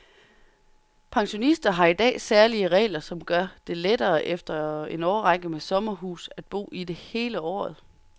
Pensionister har i dag særlige regler, som gør det lettere efter en årrække med sommerhus at bo i det hele året.